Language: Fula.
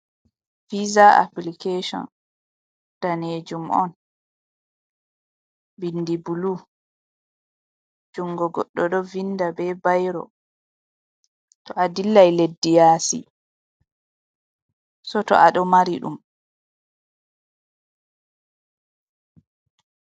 Visa appilikeson, danejum on binndi bulu jungo godɗo ɗo vinda be bairo, to a dillai leddi yasi seto aɗon mari ɗum.